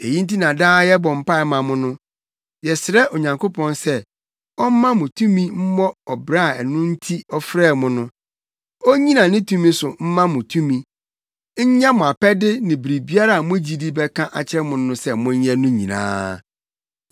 Eyi nti na daa yɛbɔ mpae ma mo no. Yɛsrɛ Onyankopɔn sɛ ɔmma mo ntumi mmɔ ɔbra a ɛno nti ɔfrɛɛ mo no. Onnyina ne tumi so mma mo tumi, nyɛ mo apɛde ne biribiara a mo gyidi bɛka akyerɛ mo sɛ monyɛ no nyinaa.